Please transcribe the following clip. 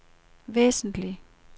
væsentligt